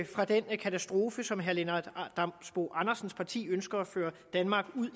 fra den katastrofe som herre lennart damsbo andersens parti ønsker at føre danmark ud